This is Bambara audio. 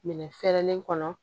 Minɛn fɛrɛlen kɔnɔ